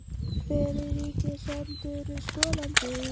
Hver er ríkisendurskoðandi?